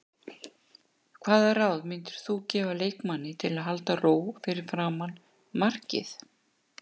Hvaða ráð myndir þú gefa leikmanni til að halda ró fyrir framan markið?